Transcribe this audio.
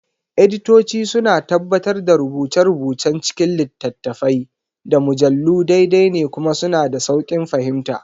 Editoci suna tabbatar da rubuce-rubucen cikin littattafai, da mujallu daidai ne kuma suna da sauƙin fahimta.